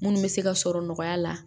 Munnu bɛ se ka sɔrɔ nɔgɔya la